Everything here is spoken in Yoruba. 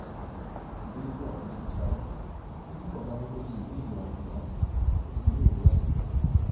jcs] oshua dongosaro lorúkọ ọgágun tó ṣe ìkéde ọhún ṣùgbọn ó ti dolóògbé báyìí